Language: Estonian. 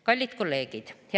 Kallid kolleegid!